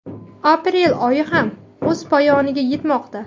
Aprel oyi ham o‘z poyoniga yetmoqda.